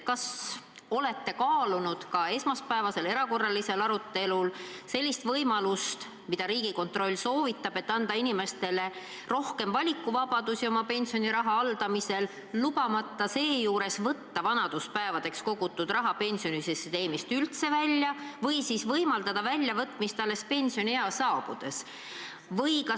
Kas olete kaalunud esmaspäevasel erakorralisel arutelul sellist võimalust, mida Riigikontroll soovitab: anda inimestele rohkem valikuvabadusi oma pensioniraha haldamisel, lubamata seejuures võtta vanaduspäevadeks kogutud raha pensionisüsteemist välja, ja ehk võimaldada raha välja võtta alles pensioniea saabudes?